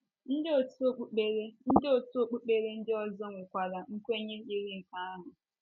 Ndị òtù okpukpere Ndị òtù okpukpere ndị ọzọ nwekwara nkwenye yiri nke ahụ.